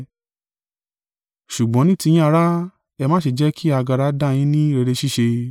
Ṣùgbọ́n ní tiyín ará, ẹ má ṣe jẹ́ kí agara dá yín ní rere ṣíṣe.